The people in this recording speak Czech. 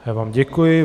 Já vám děkuji.